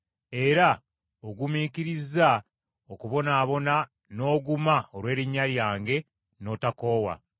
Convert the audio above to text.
Era ogumiikirizza okubonaabona n’oguma olw’erinnya lyange, n’otokoowa.